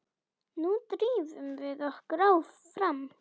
Nú drífum við okkur fram!